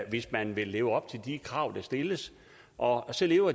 i hvis man vil leve op til de krav der stilles og så lever